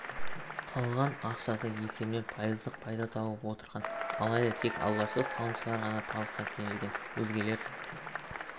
салған ақшасы есебінен пайыздық пайда тауып отырған алайда тек алғашқы салымшылар ғана табысқа кенелген өзгелер